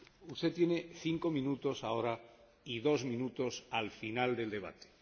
Usted tiene cinco minutos ahora y dos minutos al final del debate